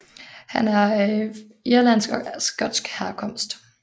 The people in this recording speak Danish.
Han er af irlandsk og skotsk herkomst